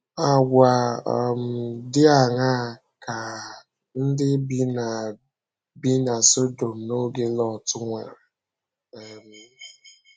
Àgwà um dị aṅaa ka um ndị bi na bi na Sọdọm n’oge Lọt nwere? um